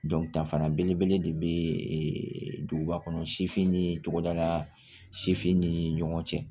Dɔn danfara belebele de bɛ duguba kɔnɔ sifin ni togodala sifin ni ɲɔgɔn cɛ